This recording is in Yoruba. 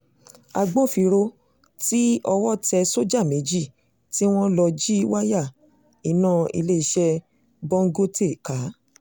agbófinró tí ń owó tẹ sọ́jà méjì tí wọ́n lọ́ọ́ jí wáyà iná iléeṣẹ́ bọngọtẹ̀ ká